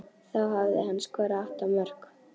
Þá hafði hann skorað átta mörk.